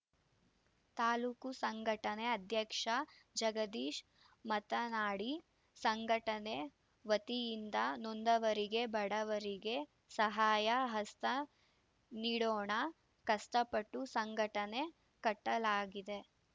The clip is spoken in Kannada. ತಾಲೂಕು ಸಂಘಟನೆ ಅಧ್ಯಕ್ಷ ಜಗದೀಶ್‌ ಮತನಾಡಿ ಸಂಘಟನೆ ವತಿಯಿಂದ ನೊಂದವರಿಗೆ ಬಡವರಿಗೆ ಸಹಾಯ ಹಸ್ತ ನೀಡೋಣ ಕಷ್ಟಪಟ್ಟು ಸಂಘಟನೆ ಕಟ್ಟಲಾಗಿದೆ